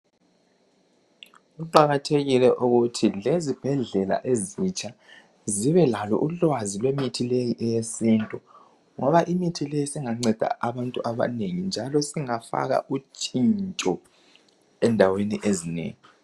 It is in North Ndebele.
Kuqakathekile ukuthi lezibhedlela ezitsha zibelalo ulwazi lwemithi leyi eyesintu ngoba imithi leyi singanceda abantu abanengi njalo singafaka utshintsho endaweni ezinengi.